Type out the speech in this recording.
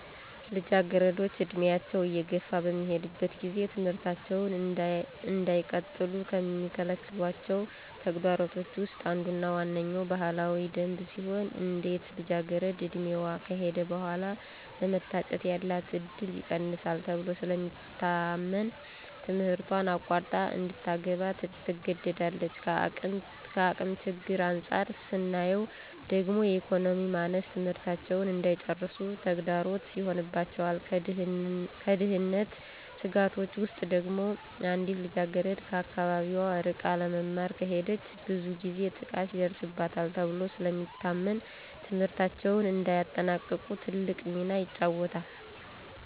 ልጃገረዶች ዕድሜያቸው እየገፋ በሚሄድበት ጊዜ ትምህርታቸውን እንዳይቀጥሉ ከሚከለክሏቸው ተግዳሮቶች ውስጥ አንዱና ዋነኛዉ ባህላዊ ደንብ ሲሆን አንዲት ልጃገረድ ዕድሜዋ ከሄደ በኃላ ለመታጨት ያላት እድል ይቀንሳል ተብሎ ስለሚታመን ትምህረቷን አቋርጣ እንድታገባ ትገደዳለች። ከአቅም ችግር አንፃር ስናየው ደግሞ የኢኮኖሚ ማነስ ትምህርታቸውን እንዳይጨርሱ ተግዳሮት ይሆንባቸዋል። ከደህንነት ስጋቶች ውስጥ ደግሞ አንዲት ልጃገረድ ከአካባቢዋ ርቃ ለመማር ከሄደች ብዙ ጊዜ ጥቃት ይደርስባታል ተብሎ ስለሚታመን ትምህርታቸውን እንዳያጠናቅቁ ትልቅ ሚና ይጫወታል።